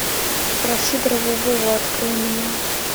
про сидорова вову открой мне